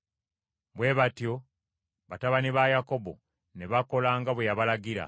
Bwe batyo batabani ba Yakobo ne bakola nga bwe yabalagira.